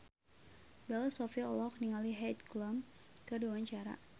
Bella Shofie olohok ningali Heidi Klum keur diwawancara